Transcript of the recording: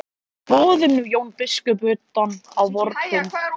Boðum nú Jón biskup utan á vorn fund.